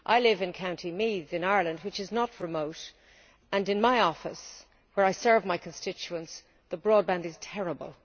I live in County Meath, in Ireland, which is not remote, and yet in my office where I serve my constituents the broadband is terrible.